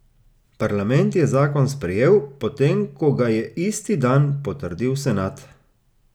Parlament je zakon sprejel, potem ko ga je isti dan potrdil senat.